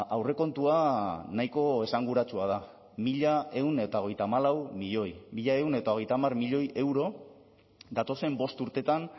aurrekontua nahiko esanguratsua da mila ehun eta hogeita hamalau milioi mila ehun eta hogeita hamar milioi euro datozen bost urteetan